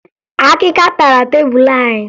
Akịka tara tebulu anyị